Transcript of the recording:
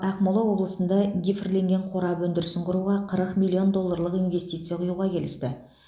ақмола облысында гифрленген қорап өндірісін құруға қырық миллион долларлық инвестиция құюға келісті